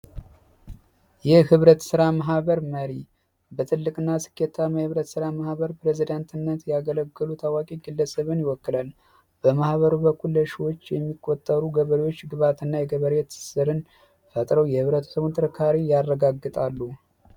ይህ ህብረት ሥራ ማህበር መሪ በትልቅ እና ስኬታ መህብረት ሥራ ማህበር ፕሬዝደንትነት ያገለግሉ ታዋቂ ግለስብን ይወክለል በማህበሩ በኩለሹዎች የሚቆጠሩ ገበሬዎች ግባት እና የገበሬት ስርን ፈጥረው የህብረት ትሙር ካሪ ያረጋግጣሉ